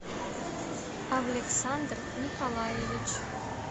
александр николаевич